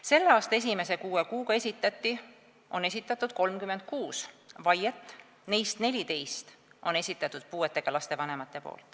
Selle aasta esimese kuue kuuga esitati 36 vaiet, neist 14 esitasid puudega laste vanemad.